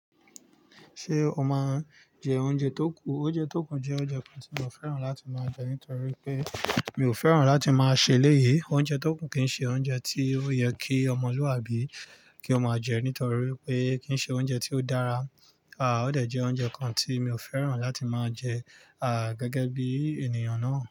Ṣé o máa ń jẹ oúnjẹ tó kù? Oúnjẹ tó kù jẹ́ oúnjẹ kan tí mi ò fẹ́ràn láti máa jẹ nítorí pé mi ò fẹ́ràn láti máa ṣe léyé. Oúnjẹ tó kù kì í ṣe oúnjẹ tí ó yẹ kí ọmọlúàbí kí ó máa jẹ nítorí pé kì í ṣe oúnjẹ tí ó dára. À ó de jẹ oúnjẹ kan tí mi ò fẹ́ràn láti máa jẹ, à gẹ́gẹ́ bí ènìyàn náà.